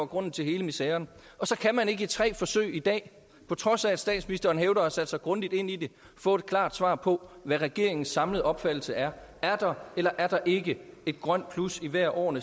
grunden til hele miseren og så kan man ikke i tre forsøg i dag på trods af at statsministeren hævder at have sat sig grundigt ind i det få et klart svar på hvad regeringens samlede opfattelse er er der eller er der ikke et grønt plus i hvert af årene